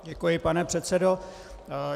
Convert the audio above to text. Děkuji, pane předsedo.